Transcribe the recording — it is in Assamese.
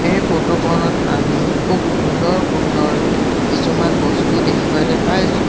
এই ফটো খনত আমি খুব সুন্দৰ সুন্দৰ কিছুমান বস্তু দেখিবলৈ পাইছোঁ।